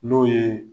N'o ye